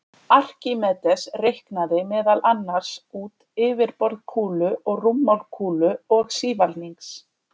Arkímedes reiknaði meðal annars út yfirborð kúlu og rúmmál kúlu og sívalnings.